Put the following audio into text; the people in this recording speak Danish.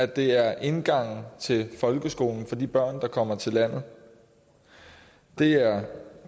det er indgangen til folkeskolen for de børn der kommer til landet det er